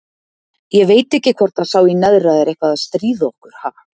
Ég veit ekki hvort að sá í neðra er eitthvað að stríða okkur, ha?